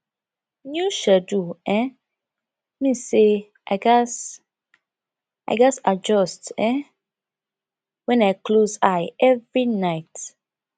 new schedule um mean say i gats i gats adjust um when i close eye every night